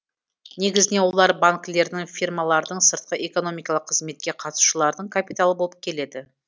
негізінен олар банкілердің фирмалардың сыртқы экономикалық қызметке қатысушылардың капиталы болып келеді